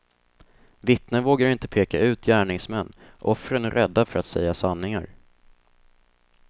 Vittnen vågar inte peka ut gärningsmän, offren är rädda för att säga sanningar.